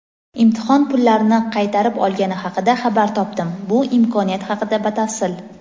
imtihon pullarini qaytarib olgani haqida xabar topdim (bu imkoniyat haqida batafsil).